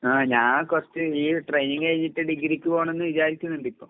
ആഹ് ഞാൻ കൊറച്ച് ഈ ട്രെയിനിങ് കഴിഞ്ഞിട്ട് ഡിഗ്രിക്ക് പോണന്ന് വിചാരിക്ക്ന്ന്ണ്ടിപ്പോ.